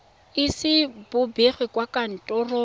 ise bo begwe kwa kantorong